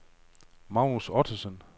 Magnus Ottosen